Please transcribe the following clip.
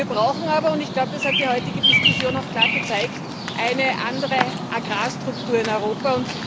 Wir brauchen aber auch ich glaube, das hat die heutige Diskussion klar gezeigt eine andere Agrarstruktur in Europa.